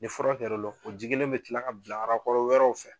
Nin fura kɛr'o lɔ o ji kelen bɛ kila ka bila wɛrɛw fɛ